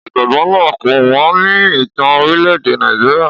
Ọ̀jọ̀gbọ́n náà ń kọ́ wọn ní ìtàn orílẹ̀-èdè Nàìjíríà.